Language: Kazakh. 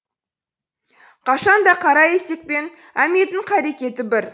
қашан да қара есекпен әметтің қарекеті бір